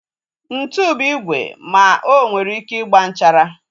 Ntụ bụ igwe ma onwere ike ịgba nchara